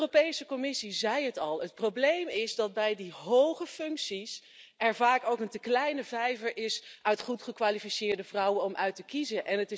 De Europese Commissie zei het al het probleem is dat er bij die hoge functies vaak een te kleine vijver van goed gekwalificeerde vrouwen is om uit te kiezen.